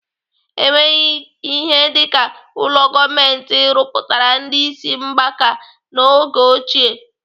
Enweghị ihe dịka ụlọ gọọmenti rụpụtara ndị ịsị mgbaka n'oge ochie.